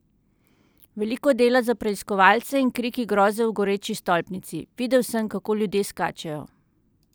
Veliko dela za preiskovalce in Kriki groze v goreči stolpnici: 'Videl sem, kako ljudje skačejo'.